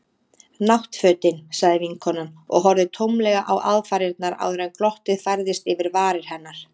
Náttfötin. sagði vinkonan og horfði tómlega á aðfarirnar áður en glottið færðist yfir varir hennar.